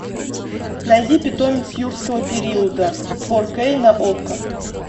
найди питомец юрского периода фор кей на окко